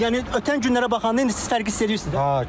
Yəni ötən günlərə baxanda indi siz fərqi hiss eləyirsiz də?